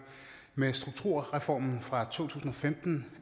med strukturreformen fra to tusind og femten